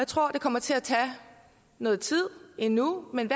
tror det kommer til at tage noget tid endnu men